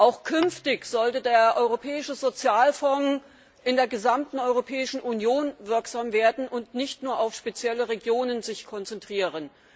Auch künftig sollte der Europäische Sozialfonds in der gesamten Europäischen Union wirksam werden und sich nicht nur auf spezielle Regionen konzentrieren.